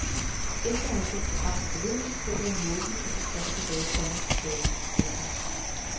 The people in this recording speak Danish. Efter at have set programmet forleden sidder jeg måbende og frustreret tilbage, komma sagde hun. punktum